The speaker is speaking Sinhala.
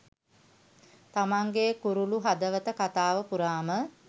තමන්ගෙ කුරුලු හදවත කතාව පුරාම